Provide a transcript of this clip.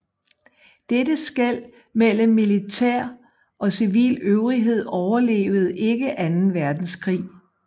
Dette skel mellem militær og civil øvrighed overlevede ikke anden verdenskrig